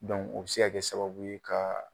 o be se ka kɛ sababu ye ka